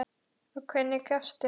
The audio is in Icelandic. Og hvernig gastu?